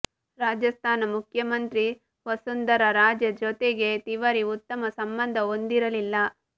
ರಾಜಸ್ಥಾನ ಮುಖ್ಯಮಂತ್ರಿ ವಸುಂಧರಾ ರಾಜೆ ಜೊತೆಗೆ ತಿವಾರಿ ಉತ್ತಮ ಸಂಬಂಧ ಹೊಂದಿರಲಿಲ್ಲ